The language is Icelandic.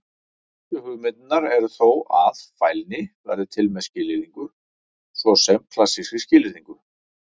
Helstu hugmyndirnar eru þó að: Fælni verði til með skilyrðingu, svo sem klassískri skilyrðingu.